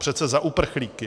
Přece za uprchlíky.